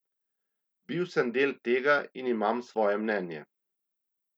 Bil sem del tega in imam svoje mnenje.